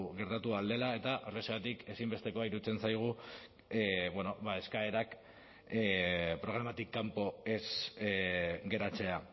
gertatu ahal dela eta horrexegatik ezinbestekoa iruditzen zaigu bueno ba eskaerak programatik kanpo ez geratzea